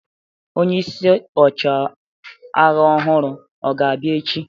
Onye isi ọchịagha ọhụrụ ọ ga-abịa echi?